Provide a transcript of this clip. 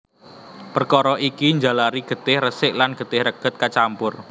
Perkara iki njalari getih resik lan getih reget kacampur